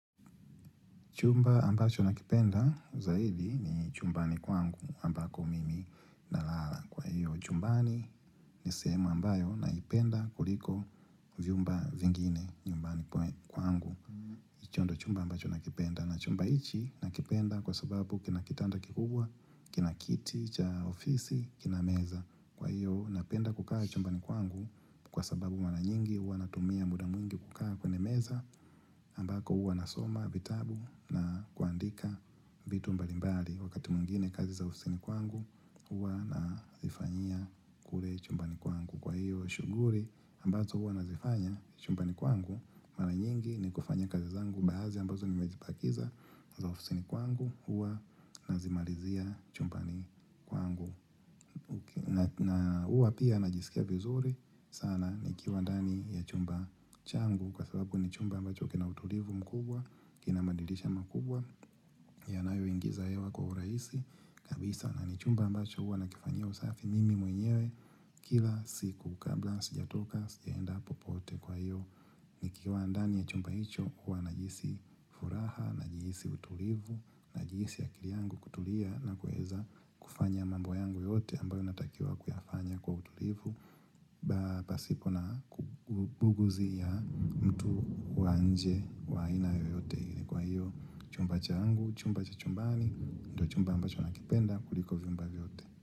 Chumba ambacho nakipenda zaidi ni chumbani kwangu ambako mimi nalala. Kwa hiyo chumbani ni sehemu ambayo naipenda kuliko vyumba vingine nyumbani kwangu. Hicho ndio chumba ambacho nakipenda na chumba hichi nakipenda kwa sababu kina kitanda kikubwa, kinakiti, cha ofisi, kinameza. Kwa hiyo napenda kukaa chumbani kwangu kwa sababu maranyingi huwa natumia muda mwingi kukaa kwenye meza ambako huwa nasoma vitabu na kuandika vitu mbalimbali Wakati mwingine kazi za ofisini kwangu huwa nazifanyia kule chumbani kwangu. Kwa hiyo shughuli ambazo huwa nazifanya chumbani kwangu mara nyingi ni kufanya kazi zangu Baadhi ambazo nimejibakiza za ofisini kwangu huwa nazimalizia chumbani kwangu na huwa pia najisikia vizuri sana nikiwa ndani ya chumba changu kwa sababu ni chumba ambacho kina utulivu mkubwa, kina madirisha makubwa yanayo ingiza hewa kwa urahisi kabisa na ni chumba ambacho hua nakifanyia usafi mimi mwenyewe kila siku kabla sijatoka sijaenda popote kwa hiyo Nikiwa ndani ya chumba hicho huwa najihisi furaha, najihisi utulivu, najihisi akili yangu kutulia na kuweza kufanya mambo yangu yote ambayo natakiwa kuyafanya kwa utulivu Basi kuna kubuguzi ya mtu wa nje wa aina yoyote ile kwa hiyo chumba changu, chumba cha chumbani, ndo chumba ambacho nakipenda kuliko vyumba vyote.